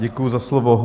Děkuji za slovo.